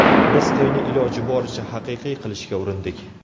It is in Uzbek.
Biz to‘yni iloji boricha haqiqiy qilishga urindik.